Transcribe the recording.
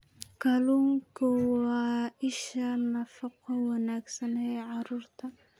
Kalluunku waa isha nafaqo wanaagsan ee carruurta.